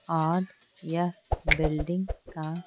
और यह बिल्डिंग का--